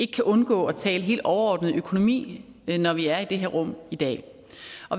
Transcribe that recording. kan undgå at tale helt overordnet økonomi når vi er i det her rum i dag